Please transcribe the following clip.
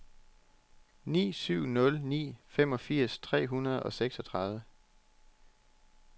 ni syv nul ni femogfirs tre hundrede og seksogtredive